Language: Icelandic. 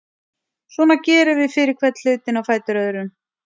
Svona gerum við fyrir hvern hlutinn á fætur öðrum.